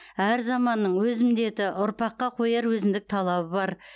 әр заманның өз міндеті ұрпаққа қояр өзіндік талабы бар